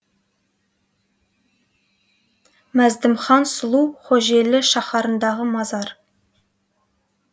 мәздімхан сұлу хожелі шаһарындағы мазар